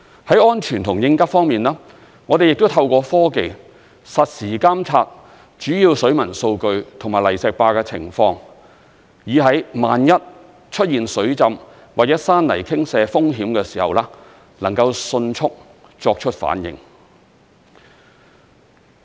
在安全和應急方面，我們亦透過科技，實時監察主要水文數據及泥石壩的情況，以在萬一出現水浸或者山泥傾瀉風險的時候，能夠迅速作出反應。